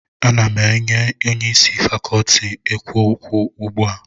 M na Onye isi Fakọọti a na-ekwu okwu ugbu a